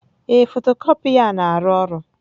Ee, fotocopier na-arụ ọrụ.